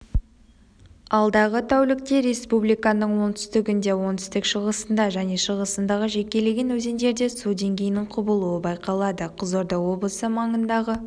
алдағы тәулікте республиканың оңтүстігінде оңтүстік-шығысында және шығысындағы жекелеген өзендерде су деңгейінің құбылуы байқалады қызылорда облысы маңындағы